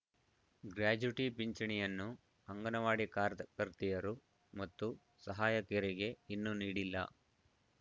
gratuity ಪಿಂಚಣಿಯನ್ನು ಅಂಗನವಾಡಿ ಕಾರ್ದ್ ಕರ್ತೆಯರು ಮತ್ತು ಸಹಾಯಕಿಯರಿಗೆ ಇನ್ನೂ ನೀಡಿಲ್ಲ